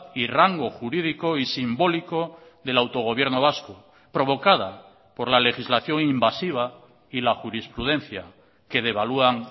y rango jurídico y simbólico del autogobierno vasco provocada por la legislación invasiva y la jurisprudencia que devalúan